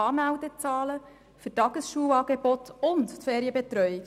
Das belegen die Anmeldezahlen für Tagesschulangeobte und Ferienbetreuung.